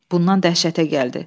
Bundan dəhşətə gəldi.